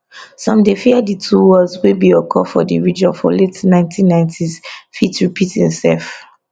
some dey fear di two wars wey bin occur for di region for late 1990s fit repeat imsef